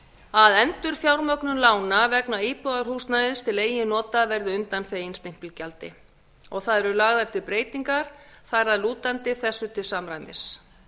að endurfjármögnun lána vegna íbúðarhúsnæðis til eigin nota verði undanþegin stimpilgjaldi og það eru lagðar til breytingar þar að lútandi þessu til samræmis